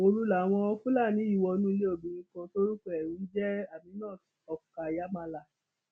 òru làwọn fúlàní yìí wọnú ilé obìnrin kan tórúkọ ẹ ń jẹ aminat okayamala